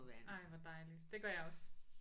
Ej hvor dejligt det gør jeg også